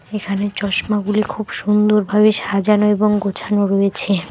এখানে চশমাগুলি খুব সুন্দরভাবে সাজানো এবং গোছানো রয়েছে।